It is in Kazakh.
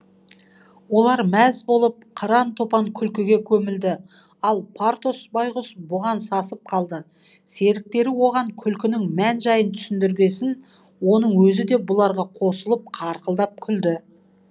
олар мәз болып қыран топан күлкіге көмілді ал портос байғұс бұған сасып қалды серіктері оған күлкінің мән жайын түсіндіргесін оның өзі де бұларға қосылып қарқылдап күлді